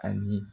Ani